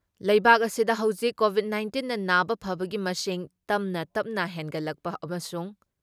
ꯂꯩꯕꯥꯛ ꯑꯁꯤꯗ ꯍꯧꯖꯤꯛ ꯀꯣꯚꯤꯠ ꯅꯥꯏꯟꯇꯤꯟꯅ ꯅꯥꯕ ꯐꯕꯒꯤ ꯃꯁꯤꯡ ꯇꯞ ꯇꯞꯅ ꯍꯦꯟꯒꯠꯂꯛꯄ ꯑꯃꯁꯨꯡ